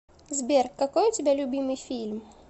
сбер какой у тебя любимый фильм